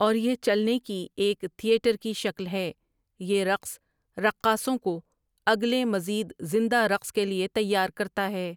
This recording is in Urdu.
اور یہ چلنے کی ایک تھیٹر کی شکل ہے یہ رقص رقاصوں کو اگلے مزید زندہ رقص کے لیے تیار کرتا ہے ۔